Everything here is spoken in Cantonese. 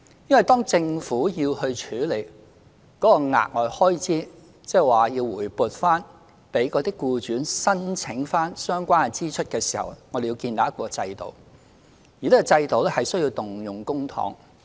因為當政府要處理該額外開支，即以報銷形式向僱主發還相關支出時，我們要建立一個制度，而這個制度需要動用公帑。